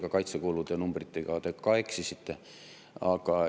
Ja kaitsekulude numbritega te ka eksisite.